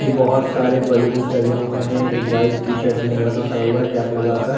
ये बहुत सारे बैलून्स लगे हुए हैं एक वाइट टी-शर्ट में लड़का खड़ा हुआ हैं कैप लगाकर --